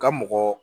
Ka mɔgɔ